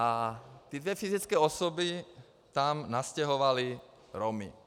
A ty dvě fyzické osoby tam nastěhovaly Romy.